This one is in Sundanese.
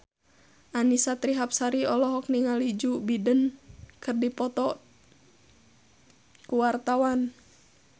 Annisa Trihapsari olohok ningali Joe Biden keur diwawancara